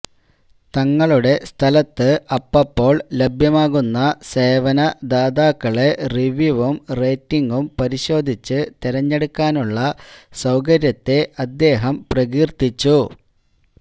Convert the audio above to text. തങ്ങളുടെ സ്ഥലത്ത് അപ്പപ്പോൾ ലഭ്യമാകുന്ന സേവനദാതാക്കളെ റിവ്യുവും റേറ്റിംഗും പരിശോധിച്ച് തെരഞ്ഞെടുക്കാനുള്ള സൌകര്യത്തെ അദ്ദേഹം പ്രകീർത്തിച്ചു